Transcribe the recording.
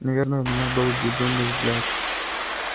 наверно у меня был безумный взгляд